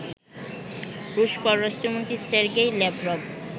রুশ পররাষ্ট্রমন্ত্রী Sergei Lavrov